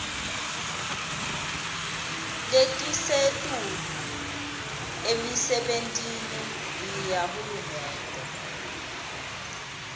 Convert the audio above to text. letisetulu emisebentini yahulumende